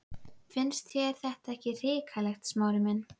Finnst þér þetta ekki hrikalegt, Smári minn?